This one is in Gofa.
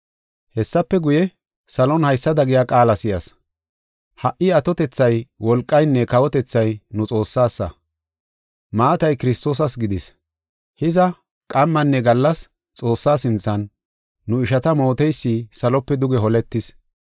Hessafe guye, salon haysada giya qaala si7as. “Ha77i atotethay, wolqaynne kawotethay, nu Xoossasa; maatay Kiristoosas gidis. Hiza, qammanne gallas Xoossaa sinthan, nu ishata mooteysi salope duge holetis.